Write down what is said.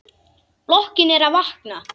Blokkin er að vakna.